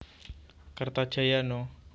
Kertajaya No